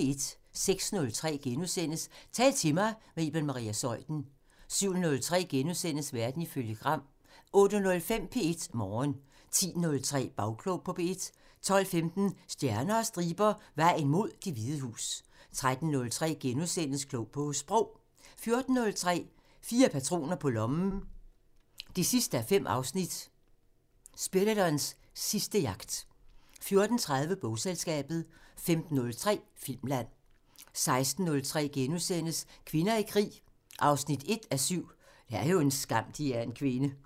06:03: Tal til mig – med Iben Maria Zeuthen * 07:03: Verden ifølge Gram * 08:05: P1 Morgen 10:03: Bagklog på P1 12:15: Stjerner og striber – Vejen mod Det Hvide Hus 13:03: Klog på Sprog * 14:03: Fire patroner på lommen 5:5 – Spiridons sidste jagt 14:30: Bogselskabet 15:03: Filmland 16:03: Kvinder i krig 1:7 – "Det er jo en skam, De er kvinde" *